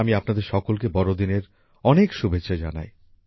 আমি আপনাদের সকলকে বড়দিনের অনেক শুভেচ্ছা জানাই